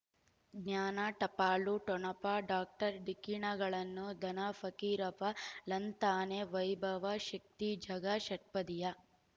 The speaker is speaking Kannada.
ಜ್ಞಾನ ಟಪಾಲು ಠೊಣಪ ಡಾಕ್ಟರ್ ಢಿಕ್ಕಿ ಣಗಳನು ಧನ ಫಕೀರಪ್ಪ ಳಂತಾನೆ ವೈಭವ್ ಶಕ್ತಿ ಝಗಾ ಷಟ್ಪದಿಯ